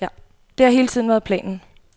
Det har hele tiden været planen.